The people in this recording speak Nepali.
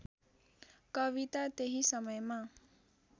कविता त्यही समयमा